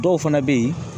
Dɔw fana bɛ yen